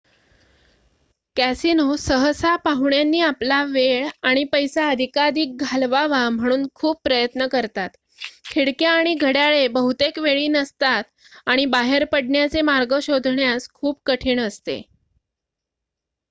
casino सहसा पाहुण्यांनी आपला वेळ आणि पैसा अधिकाधिक घालवावा म्हणून खूप प्रयत्न करतात खिडक्या आणि घड्याळे बहुतेक वेळी नसतात आणि बाहेर पडण्याचे मार्ग शोधण्यास खूप कठीण असते